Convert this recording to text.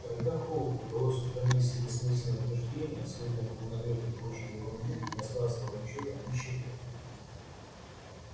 когда холку удалось устранить все бессмысленные утверждения смутные полунамёки и прочую ерунду не осталось ровным счётом ничего